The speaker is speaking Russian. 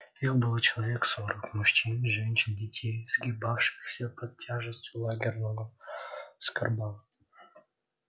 их было человек сорок мужчин женщин детей сгибавшихся под тяжестью лагерного скарба